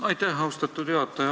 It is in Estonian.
Aitäh, austatud juhataja!